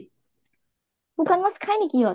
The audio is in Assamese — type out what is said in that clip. শুকান মাছ খাই নেকি সিহতে?